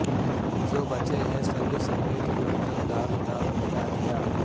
جو بچے ہیں سنگ سمیٹ لو تن داغ داغ لٹادیا